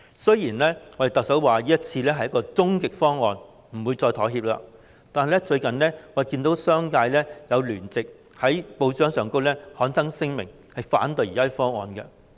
雖然特首表明這是終極方案，不會再妥協，但我們最近卻看到商界在報章聯名刊登聲明，反對現時的方案。